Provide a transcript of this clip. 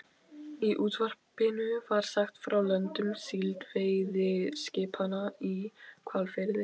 Í útvarpinu var sagt frá löndun síldveiðiskipanna í Hvalfirði.